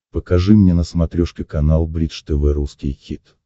покажи мне на смотрешке канал бридж тв русский хит